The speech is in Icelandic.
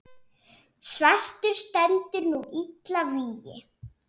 svartur stendur nú illa vígi.